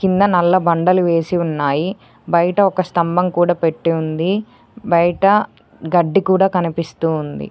కింద నల్ల బండలు వేసి ఉన్నాయి బయట ఒక స్తంభం కూడా పెట్టి ఉంది బయట గడ్డి కూడా కనిపిస్తూ ఉంది.